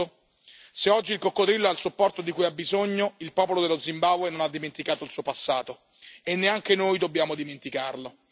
2008? Se oggi il coccodrillo ha il supporto di cui ha bisogno, il popolo dello Zimbabwe non ha dimenticato il suo passato, e neanche noi dobbiamo dimenticarlo.